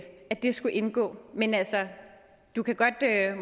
skulle indgå men du kan